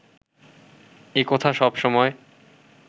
এ কথা সবসময়